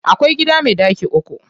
Akwai gida me ɗaki uku.